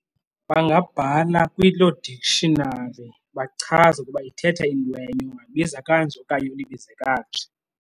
Bangabhala kuloo dictionary bachaze ukuba ithetha intwenye, ungayibiza kanje okanye uyibize kanje.